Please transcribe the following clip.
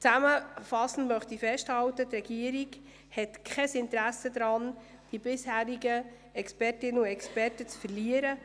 Zusammenfassend möchte ich festhalten, dass die Regierung kein Interesse daran hat, bisherige Expertinnen und Experten zu verlieren.